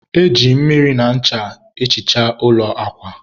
e ji mmiri na ncha ehicha ụlọ akwa